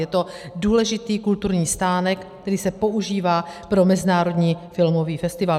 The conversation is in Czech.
Je to důležitý kulturní stánek, který se používá pro Mezinárodní filmový festival.